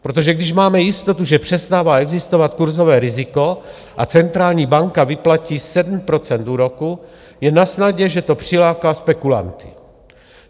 Protože když máme jistotu, že přestává existovat kurzové riziko a centrální banka vyplatí 7 % úroku, je nasnadě, že to přiláká spekulanty.